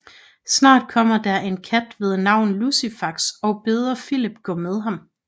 Snart kommer der en kat ved navn Lucifax og beder Filip gå med ham